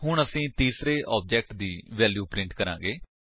ਹੁਣ ਅਸੀ ਤੀਸਰੇ ਆਬਜੇਕਟ ਦੀ ਵੈਲਿਊਜ ਪ੍ਰਿੰਟ ਕਰਾਂਗੇ